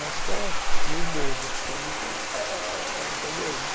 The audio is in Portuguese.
Eu acho até meio bobo, a pessoa muito eh... Entendeu?